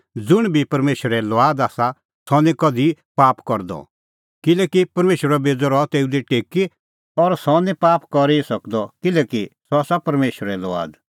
ज़ुंण बी परमेशरे लुआद आसा सह निं कधि पाप करदअ किल्हैकि परमेशरो बेज़अ रहा तेऊ दी टेकी और सह निं पाप करी ई सकदअ किल्हैकि सह आसा परमेशरे लुआद